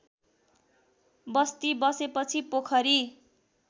बस्ती बसेपछि पोखरी